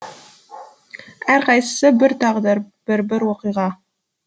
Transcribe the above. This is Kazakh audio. әрқайсысы бір тағдыр бір бір оқиға